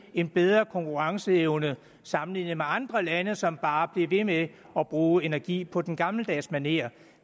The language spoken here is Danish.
en bedre konkurrenceevne sammenlignet med andre lande som bare bliver ved med at bruge energi på den gammeldags manér